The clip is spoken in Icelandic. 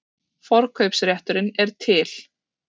Forkaupsrétturinn er til.